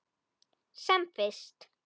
Sem fyrst.